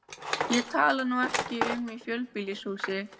Ég tala nú ekki um í fjölbýlishúsi.